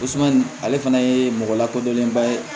ale fana ye mɔgɔ lakodɔnnenba ye